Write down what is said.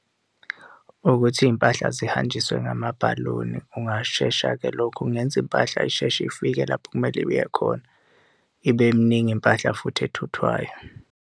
Ukuthi iy'mpahla zihanjiswe ngamabhaloni kungashesha-ke lokho, kungenza impahla isheshe ifike lapho okumele iye khona ibe miningi impahla futhi ethuthwayo.